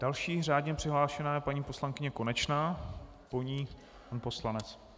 Další řádně přihlášená je paní poslankyně Konečná, po ní pan poslanec.